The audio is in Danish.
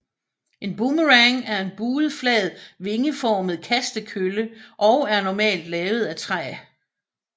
En boomerang er en buet flad vingeformet kastekølle og er normalt lavet af træ